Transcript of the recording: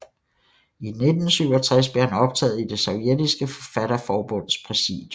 I 1967 blev han optaget i det sovjetiske forfatterforbunds præsidium